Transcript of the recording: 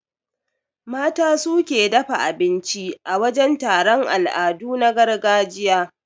Mata su suke dafa abinci a wajan taron al'adu na gargajiya.